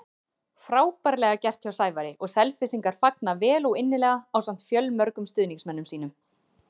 Frábærlega gert hjá Sævari og Selfyssingar fagna vel og innilega ásamt fjölmörgum stuðningsmönnum sínum.